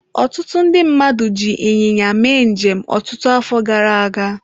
Ọtụtụ ndị mmadụ ji ịnyịnya mee njem ọtụtụ afọ gara aga.